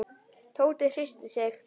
Tóti hristi sig.